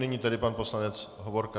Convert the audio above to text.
Nyní tedy pan poslanec Hovorka.